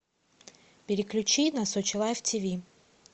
переключи на сочи лайв тв